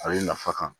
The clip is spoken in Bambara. A bɛ nafa kan